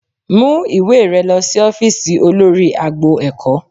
Mú ìwé rẹ lọ sí ófíìsì olórí agbo ẹ̀kọ́